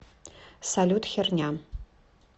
салют херня